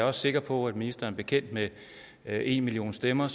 er sikker på at ministeren er bekendt med enmillionstemmer